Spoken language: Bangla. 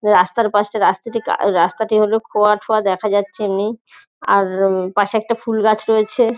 রাস্তার পাশে রাস্তাটি ক রাস্তাটি হল খোয়া ঠোয়া দেখা যাচ্ছে এমনি। আর উম পাশে একটা ফুল গাছ রয়েছে।